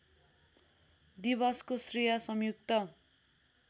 दिवसको श्रेय संयुक्त